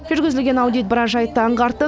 жүргізілген аудит біраз жайтты аңғартты